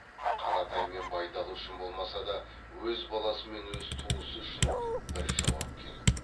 қаратай мен байдалы үшін болмаса да өз баласы мен өз туысы үшін бір жауап керек